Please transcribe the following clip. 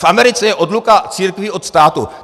V Americe je odluka církví od státu.